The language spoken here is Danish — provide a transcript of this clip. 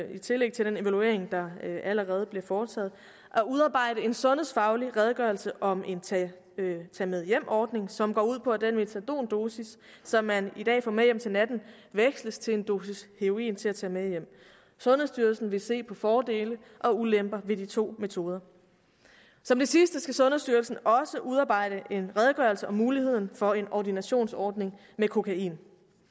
i tillæg til den evaluering der allerede bliver foretaget at udarbejde en sundhedsfaglig redegørelse om en tage med hjem ordning som går ud på at den metadondosis som man i dag får med hjem til natten veksles til en dosis heroin til at tage med hjem sundhedsstyrelsen vil se på fordele og ulemper ved de to metoder som det sidste skal sundhedsstyrelsen også udarbejde en redegørelse om muligheden for en ordinationsordning med kokain